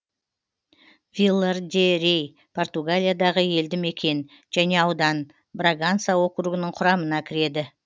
вилар де рей португалиядағы елді мекен және аудан браганса округінің құрамына кіреді